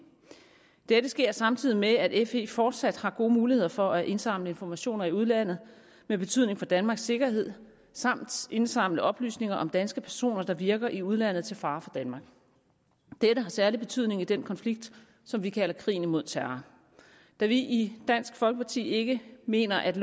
dette sker samtidig med at fe fortsat har gode muligheder for at indsamle informationer i udlandet af betydning for danmarks sikkerhed og indsamle oplysninger om danske personer der virker i udlandet til fare for danmark dette har særlig betydning i den konflikt som vi kalder krigen imod terror da vi i dansk folkeparti ikke mener at